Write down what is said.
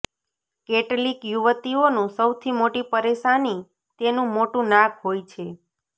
કેટલીક યુવતીઓનું સૌથી મોટી પરેશાની તેનું મોટું નાક હોય છે